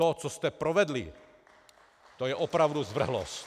To, co jste provedli, to je opravdu zvrhlost.